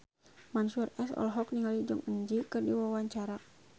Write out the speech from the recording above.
Mansyur S olohok ningali Jong Eun Ji keur diwawancara